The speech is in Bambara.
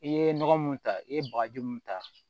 I ye nɔgɔ mun ta i ye bagaji mun ta